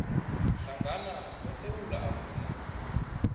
hlangana kwesewula afrika